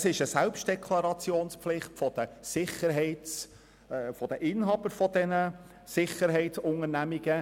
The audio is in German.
Es besteht eine Selbstdeklarationspflicht der Inhaber von Sicherheitsdienstleistungsunternehmen.